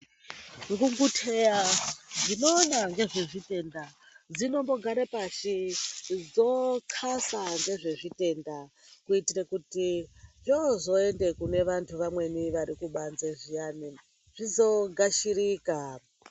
Ngunguteya dzinoona ngezvezvitenda dzinombogare pashi dzotxasa ngezvezvitenda kuitire kuti zvozende kune vantu vamweni vari kubanze zviyana zvizoogashirika.